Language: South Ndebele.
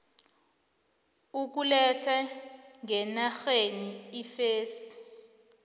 ukuletha ngenarheni iimfesi